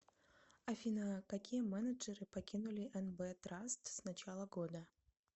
афина какие мененджеры покинули нб траст с начала года